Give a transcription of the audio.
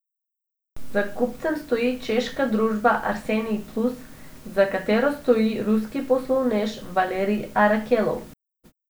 Za kupcem stoji češka družba Arsenij Plus, za katero stoji ruski poslovnež Valerij Arakelov.